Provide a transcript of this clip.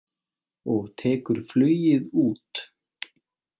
Og tekur flugið út.